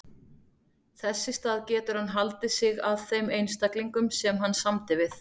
Þess í stað getur hann haldið sig að þeim einstaklingum sem hann samdi við.